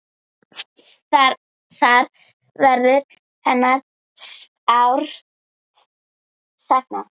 Þar verður hennar sárt saknað.